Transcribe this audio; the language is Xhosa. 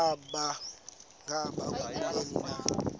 ngaba kubleni na